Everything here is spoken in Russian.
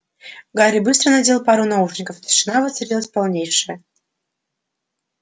гарри быстро надел пару наушников тишина воцарилась полнейшая